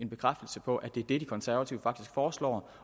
bekræftelse på at det er det de konservative faktisk foreslår